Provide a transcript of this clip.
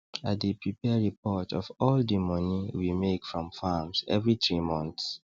i dey prepare reports of all di money we make from farms every 3 months